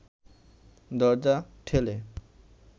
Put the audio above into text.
দরজা ঠেলে